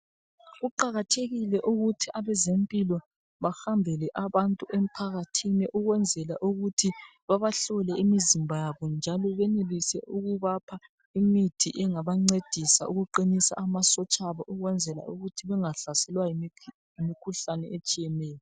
Kuqakathekile ukuthi abezempilo bahambele abantu emphakathini ukwenzela ukuthi babahlole imizimba yabo njalo benelise ukubapha imithi engabancedisa ukuqinisa amasotsha abo ukwenzela ukuthi bangahlaselwa yimikhuhlane etshiyeneyo .